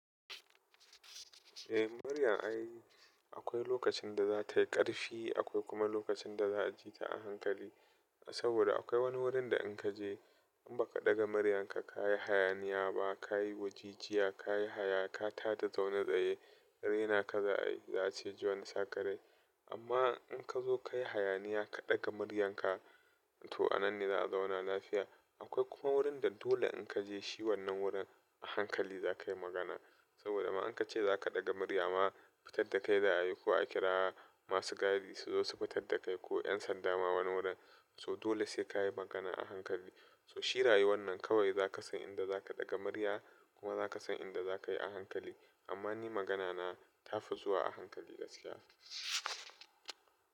Eh, muryan ai akwai lokacin da za ta yi ƙarfi, akwai kuma lokacin da za ji ta a hankali. Saboda akwai wani wurin da in ka je in ba ka ɗaga muryanka, ka yi hayaniya ba, ka yi wajijiya, ka yi haya, ka tada zaune tsaye, raina ka za a yi, za a ce ji wani sakarai. Amma in ka zo ka yi hayaniya, ka ɗaga maryanka, to a nan ne za a zauna lafiya. Akwai kuma wurin da dole in ka je, shi wannan wurin a hankali za ka yi magana. Saboda ma in ka ce za ka ɗaga muryama, fitar da kai za a yi. Ko a kira masu gadi su zo su fitar da kai ko yan sanda ma wani wurin. So dole sai ka yi magana a hankali. So shi rayuwannan kawai za ka san inda za ka ɗaga murya kuma za ka san inda za ka yi a hankali. Amma ni magana na tafi zuwa a hankali gaskiya.